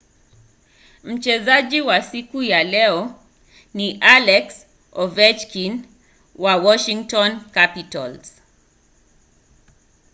mchezaji wa siku wa leo ni alex ovechkin wa washington capitals